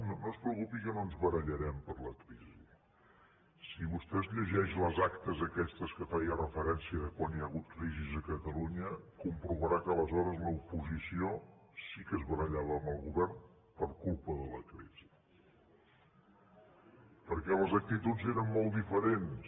no no es preocupi que no ens barallarem per la crisi si vostè es llegeix les actes aquestes a què feia referència de quan hi ha hagut crisi a catalunya comprovarà que aleshores l’oposició sí que es barallava amb el govern per culpa de la crisi perquè les actituds eren molt diferents